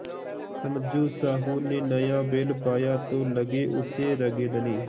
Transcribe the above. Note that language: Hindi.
समझू साहु ने नया बैल पाया तो लगे उसे रगेदने